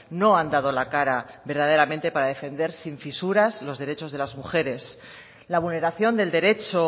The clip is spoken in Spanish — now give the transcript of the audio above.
no han dado la cara verdaderamente para defender sin fisuras los derechos de las mujeres la vulneración del derecho